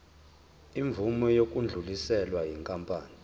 imvume yokudluliselwa yinkampani